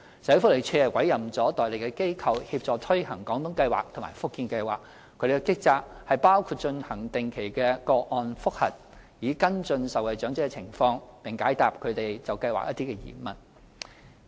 社會福利署委任了代理機構協助推行"廣東計劃"和"福建計劃"，其職責包括進行定期個案覆核，以跟進受惠長者的情況，並解答他們對計劃的疑問。